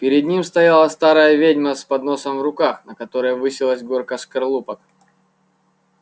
перед ним стояла старая ведьма с подносом в руках на котором высилась горка скорлупок